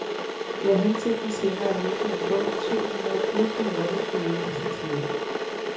Det er hensigten senere at udgive en bog med to hundrede bud på nordisk politisk satire.